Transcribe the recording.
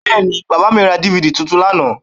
Bẹ́ẹ̀ni, bàbà mi ra DVD tuntun lánàá?